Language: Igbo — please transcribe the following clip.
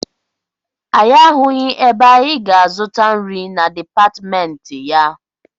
Anyị ahụghị ebe anyị ga-azụta nri na dipatịmentị ya.